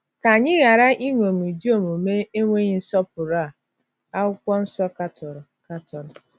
Ka anyị ghara iṅomi ụdị omume enweghị nsọpụrụ a Akwụkwọ Nsọ katọrọ! katọrọ!